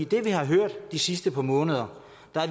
det vi har hørt de sidste par måneder